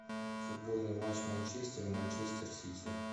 футбольный матч манчестер и манчестер сити